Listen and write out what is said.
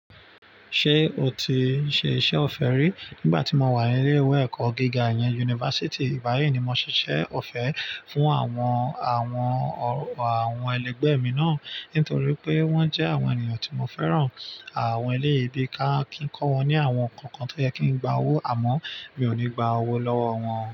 Ṣé o ti ṣe iṣẹ́ ọ̀fẹ́ rí? Nígbà tí mo wà ní ilé-ìwé ẹ̀kọ́ gíga ìyẹn, yunifásítì. Ìgbà yíì ni mo ṣiṣẹ́ ọ̀fẹ́ fún àwọn, àwọn, àwọn ẹlẹgbẹ́ mi náà nítorí pé wọ́n jẹ́ àwọn ènìyàn tí mo fẹ́ràn. Àwọn elèèyìí bí ká kí ń kọ́ wọn ní àwọn nǹkan kan tó yẹ kí ń gba owó àmọ́ mi ò ní gba owó lọ́wọ́ wọn.